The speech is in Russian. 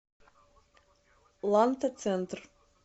ланта центр